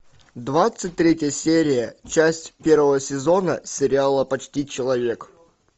двадцать третья серия часть первого сезона сериала почти человек